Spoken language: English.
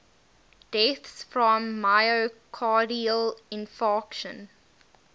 deaths from myocardial infarction